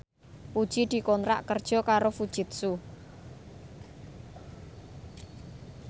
Puji dikontrak kerja karo Fujitsu